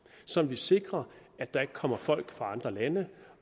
så vi sikrer at der ikke kommer folk fra andre lande